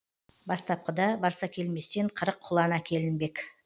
бастапқыда барсакелместен қырық құлан әкелінбек